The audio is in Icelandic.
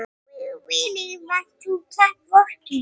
Okkur langar mjög mikið til þess að halda áfram að vinna.